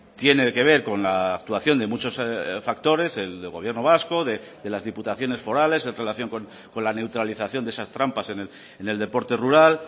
tiene que ver con la actuación de muchos factores el del gobierno vasco de las diputaciones forales en relación con la neutralización de esas trampas en el deporte rural